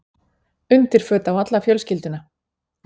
Undirföt á alla fjölskylduna.